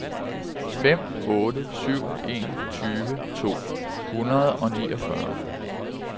fem otte syv en tyve to hundrede og niogfyrre